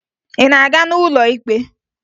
Ị na-aga n'ụlọ ikpe?